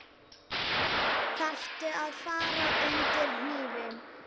Þarftu að fara undir hnífinn?